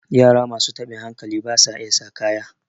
yara masu tabin hankali ba sa iya sa kaya